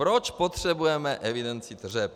Proč potřebujeme evidenci tržeb?